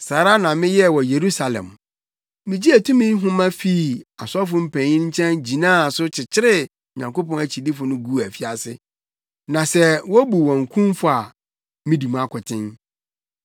Saa ara na meyɛɛ wɔ Yerusalem. Migyee tumi nhoma fii asɔfo mpanyin nkyɛn gyinaa so kyekyeree Onyankopɔn akyidifo guu afiase; na sɛ wobu wɔn kumfɔ a, midi mu akoten.